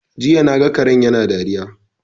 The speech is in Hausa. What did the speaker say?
Jiya naga karen yana dariya